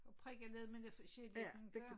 Og prikke lidt med noget forskelligt inte